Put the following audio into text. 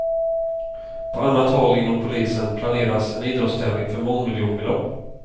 På annat håll inom polisen planeras en idrottstävling för mångmiljonbelopp.